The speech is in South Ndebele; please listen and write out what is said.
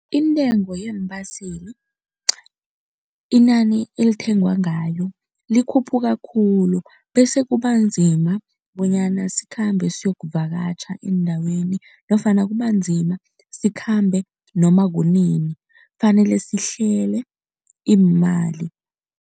Intengo yeembaseli, inani elithengwa ngayo likhuphuka khulu bese kubanzima bonyana sikhambe siyokuvakatjha endaweni nofana kubanzima sikhambe noma kunini kufanele sihlele iimali.